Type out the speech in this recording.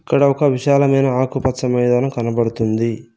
ఇక్కడ ఒక విశాలమైన ఆకుపచ్చ మైదానం కనబడుతుంది.